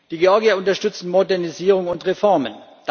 Die Georgier unterstützen Modernisierung und Reformen.